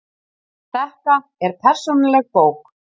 Þetta er persónuleg bók.